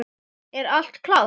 Er allt klárt?